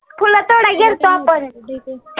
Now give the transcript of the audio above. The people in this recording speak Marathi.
फुलं तोडायला गेल्तो आपण